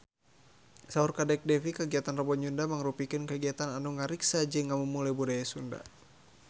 Saur Kadek Devi kagiatan Rebo Nyunda mangrupikeun kagiatan anu ngariksa jeung ngamumule budaya Sunda